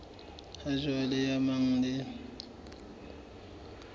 ha jwale e amanang le